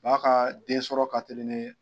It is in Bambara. Ba ka densɔrɔ ka teli ni